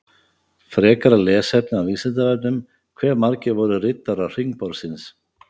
Frekara lesefni á Vísindavefnum: Hve margir voru riddarar hringborðsins?